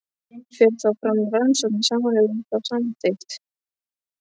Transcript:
Fer þá fram rannsókn í samræmi við þá samþykkt.